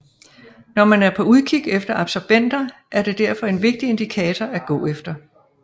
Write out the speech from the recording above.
Når man er på udkig efter absobenter er det derfor en vigtig indikator at gå efter